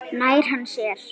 Nær hann sér?